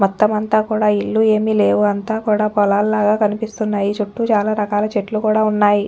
మొత్తమంతా కూడా ఇల్లు ఏమి లేవు అంతా కూడా పోలాల్ లాగా కనిపిస్తున్నాయిచుట్టు చాలా రకాల చెట్టు కూడా ఉన్నయి.